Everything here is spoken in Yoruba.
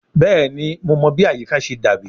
Bẹẹni Mo mọ bi ayika ṣe dabi